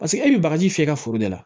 Paseke e bɛ bagaji fiyɛ i ka foro de la